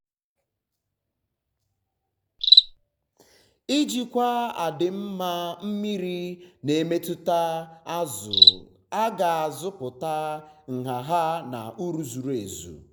ijikwa adịm mma mmiri na-emetụta zụ a ga-azụpụta um nha ya um na um uru zuru ezu.